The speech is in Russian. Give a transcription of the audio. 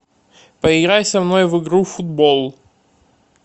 поиграй со мной в игру футбол